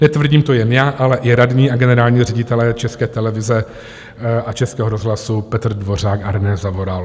Netvrdím to jen já, ale i radní a generální ředitelé České televize a Českého rozhlasu Petr Dvořák a René Zavoral.